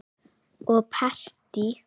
Og partí.